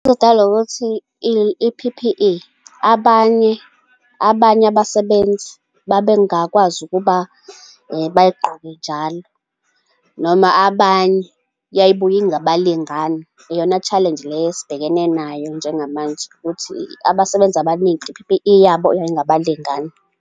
Idalwa ukuthi i-P_P_E abanye abanye abasebenzi babengakwazi ukuba bayigqoke njalo, noma abanye yayibuye ingabalingani. Iyona challenge leyo esibhekene nayo njengamanje, ukuthi abasebenzi abaningi i-P_P_E yabo yayingabalingani.